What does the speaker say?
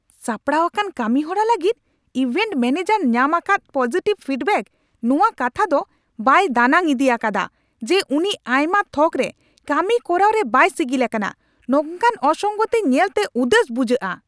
ᱥᱟᱯᱲᱟᱣ ᱟᱠᱟᱱ ᱠᱟᱹᱢᱤᱦᱚᱨᱟ ᱞᱟᱹᱜᱤᱫ ᱤᱵᱷᱮᱱᱴ ᱢᱚᱱᱮᱡᱟᱨᱮ ᱧᱟᱢ ᱟᱠᱟᱫ ᱯᱚᱡᱤᱴᱤᱵᱷ ᱯᱷᱤᱰᱵᱮᱠ ᱱᱚᱣᱟ ᱠᱟᱛᱷᱟ ᱫᱚ ᱵᱟᱭ ᱫᱟᱱᱟᱝ ᱤᱫᱤ ᱟᱠᱟᱫᱟ ᱡᱮ, ᱩᱱᱤ ᱟᱭᱢᱟ ᱛᱷᱚᱠ ᱨᱮ ᱠᱟᱹᱢᱤ ᱠᱚᱨᱟᱣ ᱨᱮ ᱵᱟᱭ ᱥᱤᱜᱤᱞ ᱟᱠᱟᱱᱟ ᱾ ᱱᱚᱝᱠᱟᱱ ᱚᱥᱚᱝᱜᱚᱛᱤ ᱧᱮᱞ ᱛᱮ ᱩᱫᱟᱹᱥ ᱵᱩᱡᱩᱜᱼᱟ ᱾